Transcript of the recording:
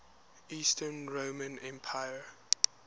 eastern roman emperor